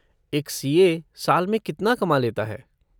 एक सी.ए. साल में कितना कमा लेता है।